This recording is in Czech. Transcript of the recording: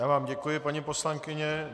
Já vám děkuji, paní poslankyně.